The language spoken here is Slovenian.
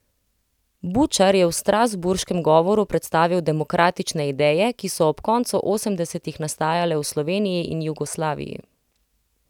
Bučar je v strasbourškem govoru predstavil demokratične ideje, ki so ob koncu osemdesetih nastajale v Sloveniji in Jugoslaviji.